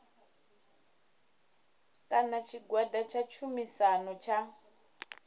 kana tshigwada tsha tshumisano tsha